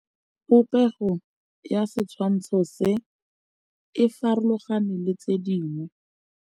Popêgo ya setshwantshô se, e farologane le tse dingwe.